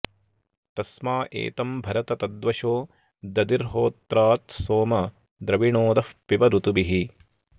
तस्मा॑ ए॒तं भ॑रत तद्व॒शो द॒दिर्हो॒त्रात्सोमं॑ द्रविणोदः॒ पिब॑ ऋ॒तुभिः॑